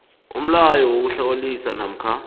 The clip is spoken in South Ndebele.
umlayo wokuhlawulisa namkha